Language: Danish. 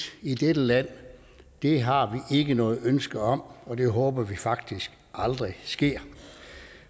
i dette land har vi ikke noget ønske om og det håber vi faktisk aldrig sker